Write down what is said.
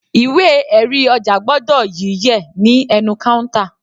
Ìwé erí ọjà gbọ́dọ̀ yí yẹ̀ ní ẹnu counter.